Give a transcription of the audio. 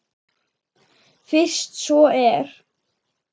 Fyrst svo er.